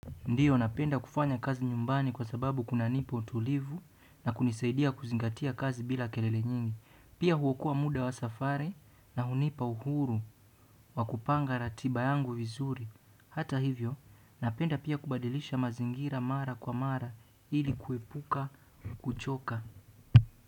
Ndiyo, napenda kufanya kazi nyumbani kwa sababu kunanipa utulivu na kunisaidia kuzingatia kazi bila kelele nyingi. Pia huokua muda wa safari na hunipa uhuru wa kupanga ratiba yangu vizuri. Hata hivyo, napenda pia kubadilisha mazingira mara kwa mara ili kuepuka kuchoka.